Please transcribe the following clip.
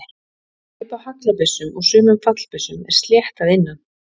Hlaup á haglabyssum og sumum fallbyssum er slétt að innan.